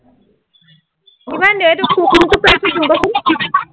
আহ এFটো কোনটো price ত দিওঁ কচোন